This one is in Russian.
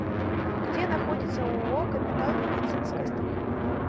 где находится ооо капитал медицинское страхование